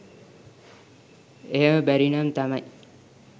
එහෙම බැරිනම් තමයි